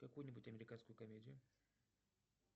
какую нибудь американскую комедию